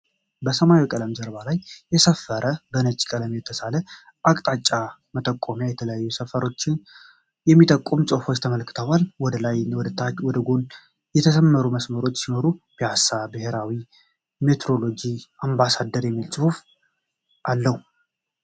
በሰማያዊ ቀለም ጀርባ ላይ የሰፈረ በነጭ ቀለም የተሳለ የአቅጣጫ መጠቆሚያ የተለያዩ ሰፈሮችን የሚጠቁም ጽሁፎችን ያመላክታል። ወደ ላይ እና ወደ ጎን የተሰመሩ መሰመሮች ሲኖሩት ፒያሳ፣ ብሄራዊ ሜትሮሎጂ እና አምባሳደር የሚል ጽሁፍ አለው።